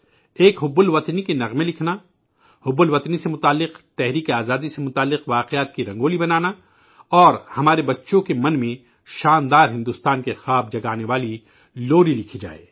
ایک حب الوطنی کے گیت لکھنا، حب الوطنی سے جڑے، تحریک آزادی سے متعلق واقعات کی رنگولیاں بنانا اور ہمارے بچوں کے ذہنوں میں عظیم الشان بھارت کے خواب جگانے والی لوری لکھی جائے